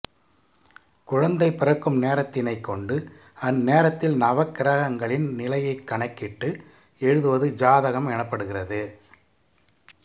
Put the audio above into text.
குழந்தை பிறக்கும் நேரத்தினைக் கொண்டு அந்நேரத்தில் நவக்கிரகங்களின் நிலையைக் கணக்கிட்டு எழுதுவது ஜாதகம் எனப்படுகிறது